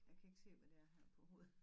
Jeg kan ikke se hvad det er her på hovedet